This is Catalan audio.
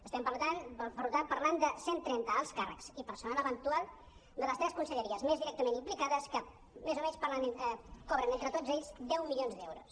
estem per tant parlant de cent trenta alts càrrecs i personal eventual de les tres conselleries més directament implicades que més o menys cobren entre tots ells deu milions d’euros